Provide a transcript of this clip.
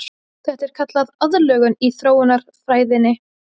Þetta er kallað aðlögun í þróunarfræðinni.